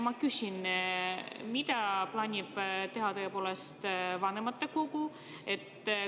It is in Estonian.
Ma küsin: mida plaanib teha vanematekogu?